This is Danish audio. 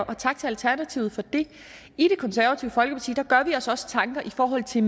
og tak til alternativet for det i det konservative folkeparti gør vi os også tanker i forhold til